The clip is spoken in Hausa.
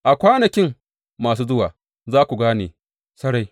A kwanakin masu zuwa za ku gane sarai.